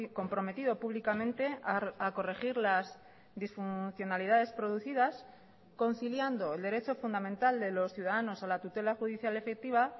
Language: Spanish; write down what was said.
comprometido públicamente a corregir las disfuncionalidades producidas conciliando el derecho fundamental de los ciudadanos a la tutela judicial efectiva